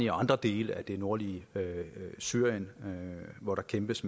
og andre dele af det nordlige syrien hvor der kæmpes